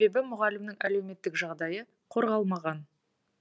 себебі мұғалімнің әлеуметтік жағдайы қорғалмаған